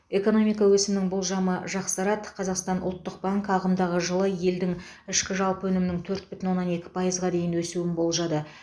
экономика өсімінің болжамы жақсарды қазақстан ұлттық банкі ағымдағы жылы елдің ішкі жалпы өнімінің төрт бүтін оннан екі пайызға дейін өсуін болжады